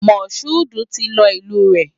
Mashood ti lọ ìlú rẹ̀.